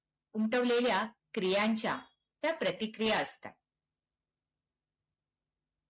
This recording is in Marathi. उमटवलेल्या क्रियांच्या त्या प्रतिक्रिया असतात.